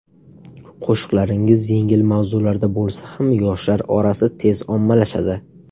Qo‘shiqlaringiz yengil mavzularda bo‘lsa ham yoshlar orasida tez ommalashadi.